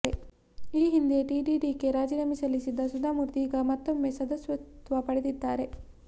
ಈ ಹಿಂದೆ ಟಿಟಿಡಿಗೆ ರಾಜೀನಾಮೆ ಸಲ್ಲಿಸಿದ್ದ ಸುಧಾಮೂರ್ತಿ ಈಗ ಮತ್ತೊಮ್ಮೆ ಸದಸ್ಯತ್ವ ಪಡೆದಿದ್ದಾರೆ